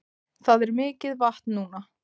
Það er mikið vatn núna